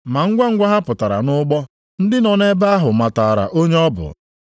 Ma ngwangwa ha pụtara nʼụgbọ, ndị nọ nʼebe ahụ matara onye ọ bụ.